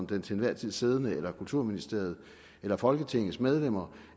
den til enhver tid siddende kulturminister eller kulturministeriet eller folketingets medlemmer